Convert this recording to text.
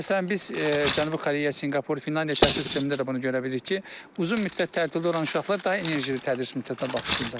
Məsələn, biz Cənubi Koreya, Sinqapur, Finlandiya təhsil sistemində də bunu görə bilirik ki, uzun müddət təhsildə olan uşaqlar daha enerjili tədris müddətinə başlayırlar.